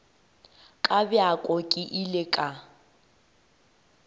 ka bjako ke ile ka